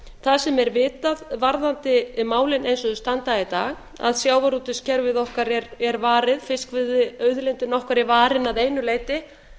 það sem er vitað varðandi málin eins og þau standa í dag að sjávarútvegskerfið okkar er varið fiskveiðiauðlindin okkar er varin að einu leyti